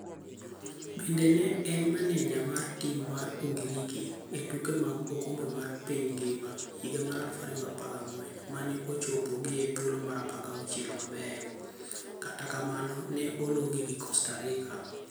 Bende ne en maneja mar tim mar Ugiriki e tuke mag oKombe mar piny ngima higa mar 2014 mane ochopogie thuolo mar 16 mabeyo, kata kamano ne ologi gi Costa Rica.